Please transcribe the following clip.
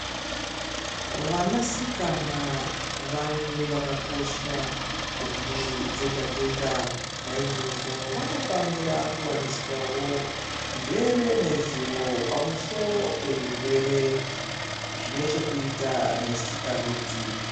Vanasikana vanthu vakakosha kumburi dzega dzega naizvozvo vanofanira kuwaniswao njere nezivo pamusoro pezvirwere zvine chekuita nesikarudzi.